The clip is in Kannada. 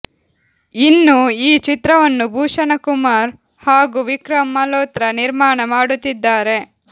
ಇನ್ನೂ ಈ ಚಿತ್ರವನ್ನು ಭೂಷಣಕುಮಾರ್ ಹಾಗೂ ವಿಕ್ರಮ್ ಮಲೋತ್ರಾ ನಿರ್ಮಾಣ ಮಾಡುತ್ತಿದ್ದಾರೆ